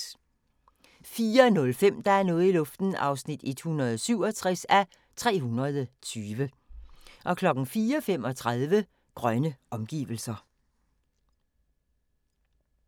04:05: Der er noget i luften (167:320) 04:35: Grønne omgivelser